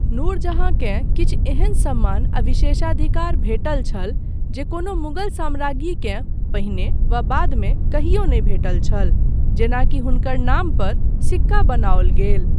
नूरजहाँकेँ किछु एहन सम्मान आ विशेषाधिकार भेटल छल जे कोनो मुगल सम्राज्ञीकेँ पहिने वा बाद मे कहियो नहि भेटल छल जेना कि हुनकर नाम पर सिक्का बनाओल गेल।